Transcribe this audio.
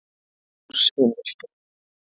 Ljós í myrkrinu.